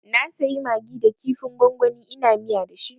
Na sayi magi da kifin gwangwani ina miya dashi